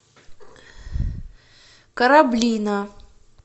кораблино